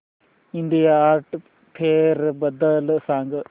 India art fair बद्दल सांग